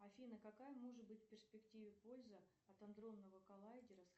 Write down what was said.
афина какая может быть в перспективе польза от адронного коллайдера